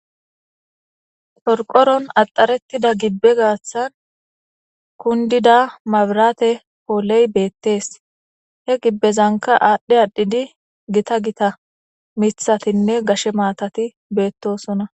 Qorqoron axarettida gibbe gaththan kundida mabrate pooley beetes, he gibezanka aadhi adhidi gita gita mithatinne gashe maatati betosona.